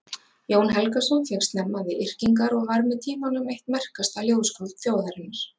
Jón Helgason fékkst snemma við yrkingar og varð með tímanum eitt merkasta ljóðskáld þjóðarinnar.